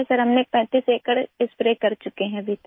sir हमने 35 एकड़ spray कर चुके हैं अभी तक